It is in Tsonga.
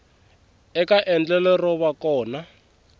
eka endlelo ro va kona